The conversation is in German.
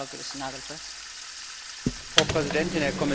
Frau Präsidentin, Herr Kommissar, liebe Kolleginnen, liebe Kollegen!